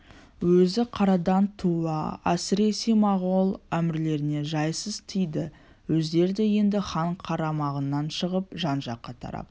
өзі қарадан туа әсіресе моғол әмірлеріне жайсыз тиді өздері де енді хан қарамағынан шығып жан-жаққа тарап